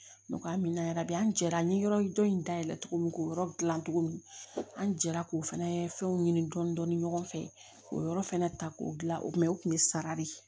N k'a mina bi an jɛra an ye yɔrɔ dɔ in dayɛlɛ togo min k'o yɔrɔ dilan cogo min an jɛra k'o fɛnɛ fɛnw ɲini dɔndɔni ɲɔgɔn fɛ o yɔrɔ fɛnɛ ta k'o gilan o kuma o kun ye sara de ye